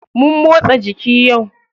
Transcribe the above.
Mun motsa jiki yau.